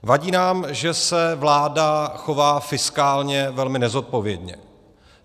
Vadí nám, že se vláda chová fiskálně velmi nezodpovědně.